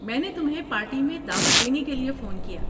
میں نے تمہیں پارٹی میں دعوت دینے کے لیے فون کیا۔